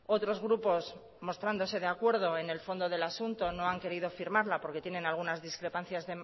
otros grupos mostrándose de acuerdo en el fondo del asunto no han querido firmarla porque tienen algunas discrepancias